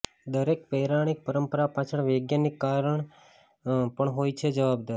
દરેક પૌરાણિક પરંપરા પાછળ વૌજ્ઞાનિક કારણ પણ હોય છે જવાબદાર